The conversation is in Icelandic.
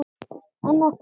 Anna Stella.